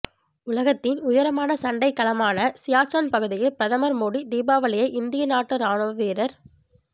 உலகத்தின் உயரமான சண்டைக்களமான சியாச்சன் பகுதியில் பிரதமர் மோடி தீபாவளியை இந்திய நாட்டு ராணுவ வீரர்